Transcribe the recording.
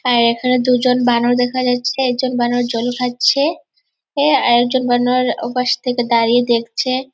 আর এখানে দুজন বানর দেখা যাচ্ছে | একজন বানর জল খাচ্ছে উম আর একজন বানর ওপাস থেকে দাঁড়িয়ে দেখছে ।